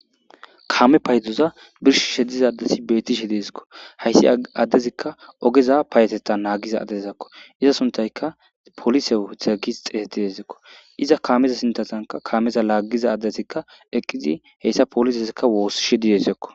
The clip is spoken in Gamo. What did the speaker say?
Kaame paytuza birsh shedizadesi betishe deezikko hayssi addezikka ogeza payeteta naagiza addezakko iza suntayka polisewu teggis xeeetidezekko iza kaameza sintazana kaameza laaggiza addesikka eqqizi heyssa poolisezikka oos shedidesekko